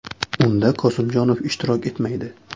Unda Qosimjonov ishtirok etmaydi.